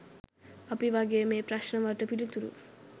අපි වගේ මේ ප්‍රශ්ණ වලට පිළිතුරු